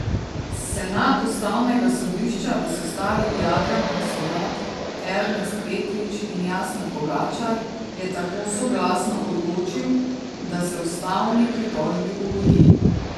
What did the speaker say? Senat ustavnega sodišča v sestavi Jadranka Sovdat, Ernest Petrič in Jasna Pogačar je tako soglasno odločil, da se ustavni pritožbi ugodi.